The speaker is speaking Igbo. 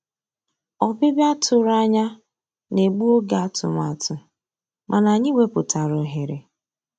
Ọ́bị́bịá tụ̀rụ̀ ànyá ná-ègbu ògé àtụ̀màtụ́, mànà ànyị́ wepụ́tárá òghéré.